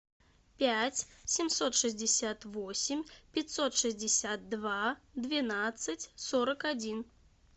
пять семьсот шестьдесят восемь пятьсот шестьдесят два двенадцать сорок один